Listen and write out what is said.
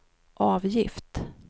avgift